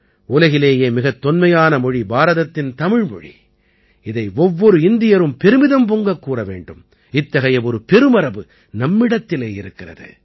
உலகிலேயே மிகத் தொன்மையான மொழி பாரதத்தின் தமிழ்மொழி இதை ஒவ்வொரு இந்தியரும் பெருமிதம் பொங்கக் கூற வேண்டும் இத்தகைய ஒரு பெருமரபு நம்மிடத்திலே இருக்கிறது